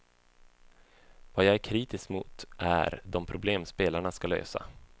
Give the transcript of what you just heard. Vad jag är kritisk mot är de problem spelarna ska lösa.